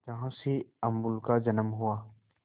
जहां से अमूल का जन्म हुआ